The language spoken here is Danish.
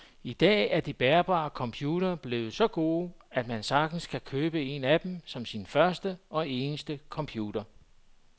I dag er de bærbare computere blevet så gode, at man sagtens kan købe en af dem som sin første og eneste computer.